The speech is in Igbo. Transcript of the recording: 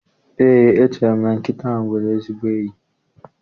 Eé, echere m na nkịta nwere ezigbo enyi.